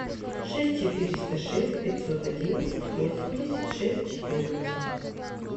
шесть четыреста шесть пятьсот одиннадцать восемьдесят шесть четырнадцать